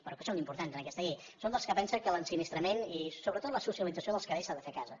però que són importants en aquesta llei som dels que pensen que l’ensinistrament i sobretot la socialització dels cadells s’han de fer a casa